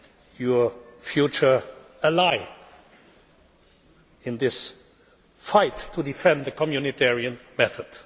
as your future ally in this fight to defend the Community method.